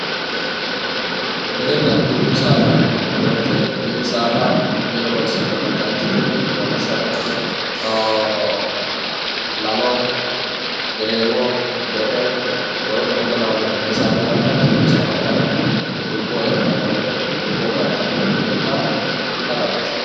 minina dubbu saada yinanni woyiite mini saada mine horonsi'nannita ikkite lawishshaho lalo, gereewo, me"e woleno kuri lawannore ikkanna dubbu saada kayiini dubboo heexxannore dubboo galtannore ikka xawinsanni.